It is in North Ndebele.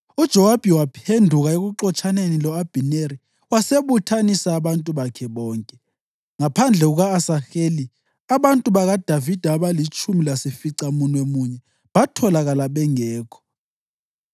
UJowabi waphenduka ekuxotshaneni lo-Abhineri wasebuthanisa abantu bakhe bonke. Ngaphandle kuka-Asaheli abantu bakaDavida abalitshumi lasificamunwemunye batholakala bengekho.